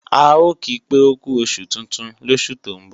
A ò ki pé ókú oṣù tuntun lósù tó ń bọ̀